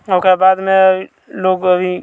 ओकर बाद में लोग अभी --